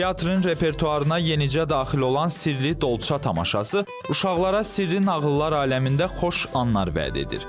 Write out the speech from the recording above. Teatrın repertuarına yenicə daxil olan Sirli Dolça tamaşası uşaqlara sirri nağıllar aləmində xoş anlar vəd edir.